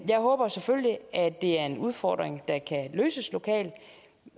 jeg håber selvfølgelig at det er en udfordring der kan løses lokalt